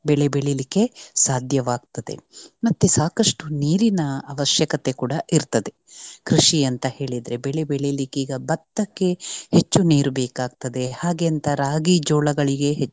ಬೆಳೆ ಬೆಳಿಲಿಕ್ಕೆ ಸಾಧ್ಯವಾಗ್ತದೆ. ಮತ್ತೆ ಸಾಕಷ್ಟು ನೀರಿನ ಅವಶ್ಯಕತೆ ಕೂಡ ಇರ್ತದೆ. ಕೃಷಿ ಅಂತ ಹೇಳಿದ್ರೆ ಬೆಳೆ ಬೆಳಿಲಿಕ್ಕೆ ಈಗ ಭತ್ತಕ್ಕೆ ಹೆಚ್ಚು ನೀರು ಬೇಕಾಗ್ತದೆ ಹಾಗೆ ಅಂತ ರಾಗಿ ಜೋಳಗಳಿಗೆ